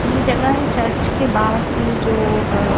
यह जगह है चर्च के बाहर की जो आह।